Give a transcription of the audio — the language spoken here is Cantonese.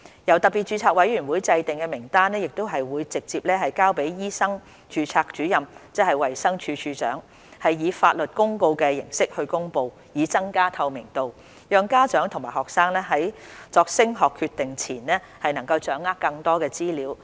由特別註冊委員會制訂的名單會直接交予醫生註冊主任，即衞生署署長，以法律公告形式公布，以增加透明度，讓家長和學生在作升學決定前能夠掌握更多資料。